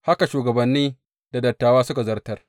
Haka shugabanni da dattawa suka zartar.